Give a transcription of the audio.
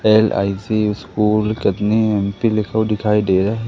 LIC school Katni M P लिखा हुआ दिखाई दे रहा--